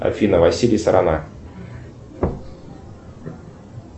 афина василий сорона